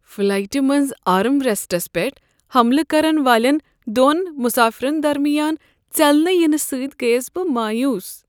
فلایٹہ منٛز میٲنس armrests پیٹھ حملہٕ کرن والٮ۪ن دۄن مسافرن درمیان ژٮ۪لنہٕ ینہٕ سۭتۍ گٔیس بہٕ مایوٗس۔